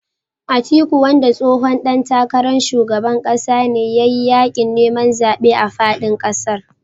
Atiku wanda tsohon ɗan takarar shugaban ƙasa ne ya yi yaƙin neman zaɓe a faɗin ƙasar